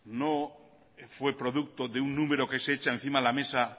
no fue producto de un número que se echa encima de la mesa